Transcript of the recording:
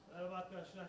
Salam, dostlar.